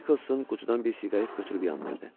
Nikkelsin qutudan bir siqaret götürüb yandırdı.